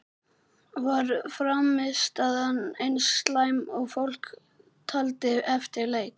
Var frammistaðan eins slæm og fólk taldi eftir leik?